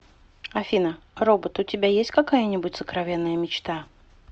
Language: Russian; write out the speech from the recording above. афина робот у тебя есть какая нибудь сокровенная мечта